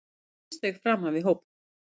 Hann tvísteig framan við hópinn.